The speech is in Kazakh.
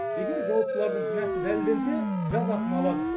егер жауаптылардың кінәсі дәлелденсе жазасын алады